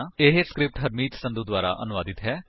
ਇਹ ਸਕਰਿਪਟ ਹਰਮੀਤ ਸੰਧੂ ਦੁਆਰਾ ਅਨੁਵਾਦਿਤ ਹੈ